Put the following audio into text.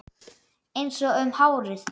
Einsog um árið.